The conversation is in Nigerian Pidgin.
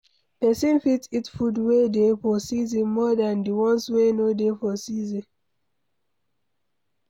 Person fit eat food wey dey for season more than di ones wey no dey for season